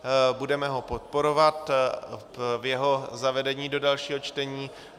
Budeme ho podporovat v jeho zavedení do dalšího čtení.